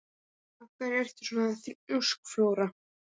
Af hverju ertu svona þrjóskur, Flóra?